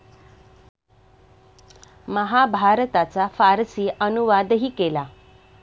महाभारताचा फारसी अनुवादही केला.